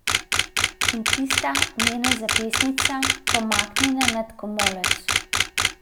In tista njena zapestnica, pomaknjena nad komolec.